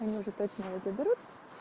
они уже точно её заберут